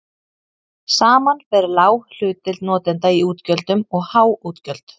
Saman fer lág hlutdeild notenda í útgjöldum og há útgjöld.